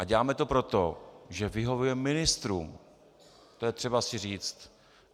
A děláme to proto, že vyhovujeme ministrům, to je třeba si říct.